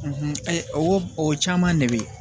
o o caman de bɛ ye